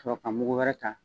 Ka sɔrɔ ka mugu wɛrɛ ta